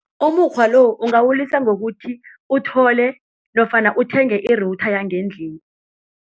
Umukghwa lo ungawulisa ngokuthi uthole nofana uthenge i-router yangendlini.